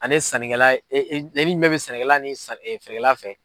Ani sannikɛla min bɛɛ bɛ sɛnɛkɛla ni saani feerekɛla